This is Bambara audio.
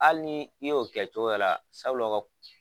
Hali ni i y'o kɛ cogoya la sabula o ka